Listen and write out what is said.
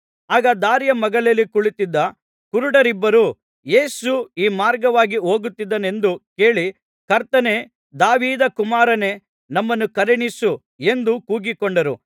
ಆಗ ದಾರಿಯ ಮಗ್ಗುಲಲ್ಲಿ ಕುಳಿತಿದ್ದ ಕುರುಡರಿಬ್ಬರು ಯೇಸು ಈ ಮಾರ್ಗವಾಗಿ ಹೋಗುತ್ತಿದ್ದಾನೆಂದು ಕೇಳಿ ಕರ್ತನೇ ದಾವೀದ ಕುಮಾರನೇ ನಮ್ಮನ್ನು ಕರುಣಿಸು ಎಂದು ಕೂಗಿಕೊಂಡರು